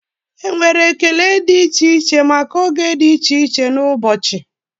Enwere ekele dị iche iche maka oge dị iche iche n'ụbọchị.